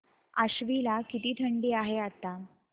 आश्वी ला किती थंडी आहे आता